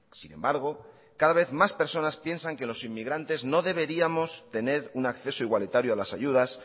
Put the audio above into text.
sin embargo cada vez más personas piensan que los inmigrante no deberíamos tener un acceso igualitario a las ayudas